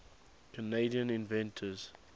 canadian inventors